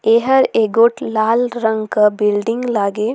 एहर एगो लाल रंग का बिल्डिंग लागे।